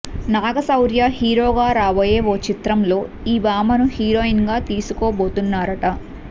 నాగశౌర్య హీరోగా రాబోయే ఓ చిత్రంలో ఈ భామను హీరోయిన్ గా తీసుకోబోతున్నారట